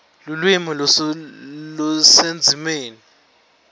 lulwimi lusendzimeni